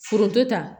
Foronto ta